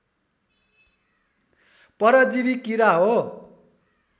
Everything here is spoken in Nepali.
परजीवी किरा हो